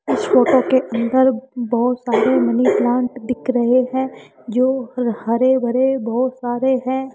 इस फोटो के अंदर बहोत सारे मनी प्लांट दिख रहे हैं जो हर भरे बहोत सारे हैं।